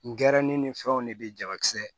N gɛrɛ ne ni fɛnw de be jalakisɛ